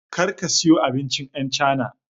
Kar ka siyo abincin yan chana